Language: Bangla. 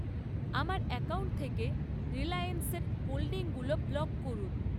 আমার অ্যাকাউন্ট থেকে রিলায়েন্সের হোল্ডিংগুলো ব্লক করুন।